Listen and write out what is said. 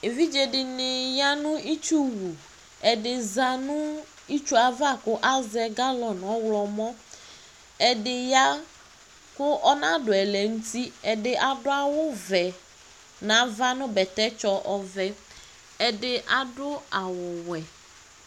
Evidze dini yanu itsuwuɛdi zanu itsu yɛ'ava , kʋ asɛ galɔn ɔɣlɔmɔƐdi ya kʋ ɔnadu ɛlɛnutiƐdi adʋ awu vɛ ,nʋ ava , nu bɛtɛtsɔ ɔvɛƐdi adʋ awu wɛ